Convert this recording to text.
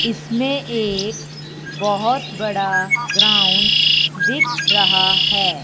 इसमें एक बहोत बड़ा ग्राउंड दिख रहा हैं।